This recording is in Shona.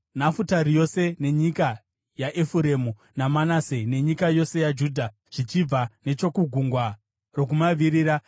Nafutari yose, nenyika yaEfuremu naManase, nenyika yose yaJudha zvichibva nechokugungwa rokumavirira,